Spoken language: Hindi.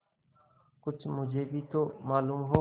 कुछ मुझे भी तो मालूम हो